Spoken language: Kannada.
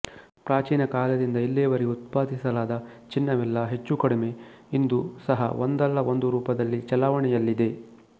ಪ್ರಾಚೀನ ಕಾಲದಿಂದ ಇಲ್ಲಿಯವರೆಗೆ ಉತ್ಪಾದಿಸಲಾದ ಚಿನ್ನವೆಲ್ಲಾ ಹೆಚ್ಚೂಕಡಿಮೆ ಇಂದು ಸಹ ಒಂದಲ್ಲ ಒಂದು ರೂಪದಲ್ಲಿ ಚಲಾವಣೆಯಲ್ಲಿದೆ